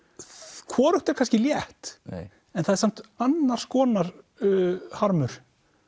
þau hvorugt er kannski létt en það er samt annars konar harmur